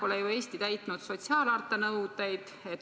Eesti pole täitnud sotsiaalharta nõudeid.